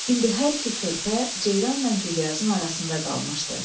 İndi hər iki körpə ceyranla Güllyazın arasında qalmışdı.